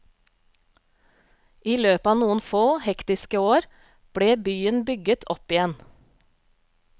I løpet av noen få, hektiske år ble byen bygget opp igjen.